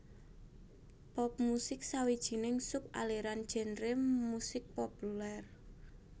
Pop musik sawijining sub aliran genre musik populèr